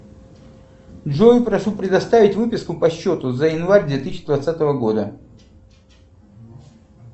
джой прошу предоставить выписку по счету за январь две тысячи двадцатого года